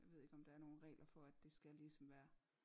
Jeg ved ikke om der er nogen regler for at det skal ligesom være